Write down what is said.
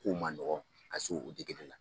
Kow man nɔgɔ ka se o la